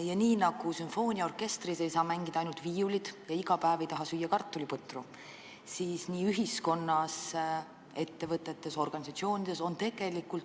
Ja nii nagu sümfooniaorkestris ei saa mängida ainult viiulid ja nii nagu iga päev ei taha süüa kartuliputru, on mitmekesisus oluline ka ühiskonnas, ettevõtetes, organisatsioonides.